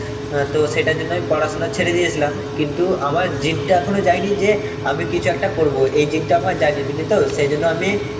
অ্যাঁ তো সেটার জন্যই পড়াশোনা ছেড়ে দিয়েছিলাম, কিন্তু আমার জিদ টা এখনো যায়নি যে আমি কিছু একটা করব. এই জিদ টা আমার যায়নি, বুঝলি তো? সেই জন্য আমি